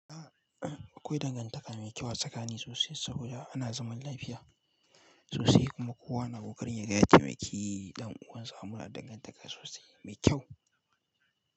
Akwai dangantaka mai kyau a tsakani sosai saboda ana zaman lafiya sosai kuma kowa na ƙokarin ya gaya taimaki ɗan uwan sa amma da dangantaka sosai mai kyau.